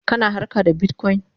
kana harka da Bitcoin?